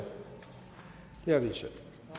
hvis